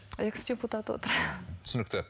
экс депутат отыр түсінікті